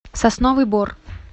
сосновый бор